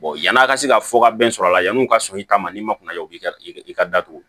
yan'a ka se ka fɔ ka bɛn sɔrɔ a la yan'u ka sɔn i ta ma n'i ma kunna ja o bi ka i ka datugu